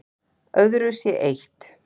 Öðru sé eytt